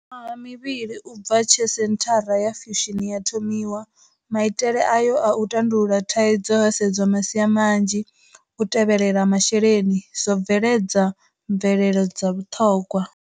Miṅwaha mivhili u bva tshe Senthara ya Fusion ya thomiwa, maitele ayo a u tandulula thaidzo ho sedzwa masia manzhi u tevhelela masheleni zwo bveledza mvelelo dza vhuṱhogwa.